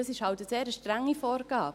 Das ist halt eine sehr strenge Vorgabe.